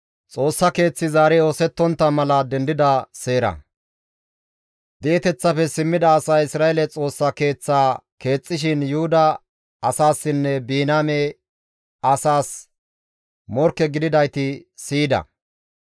Di7eteththafe simmida asay Isra7eele Xoossa Keeththaa keexxishin Yuhuda asaassinne Biniyaame asaas morkke gididayti siyida.